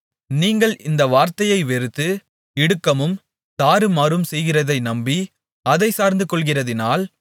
நீங்கள் இந்த வார்த்தையை வெறுத்து இடுக்கமும் தாறுமாறும் செய்கிறதை நம்பி அதைச் சார்ந்து கொள்கிறதினால்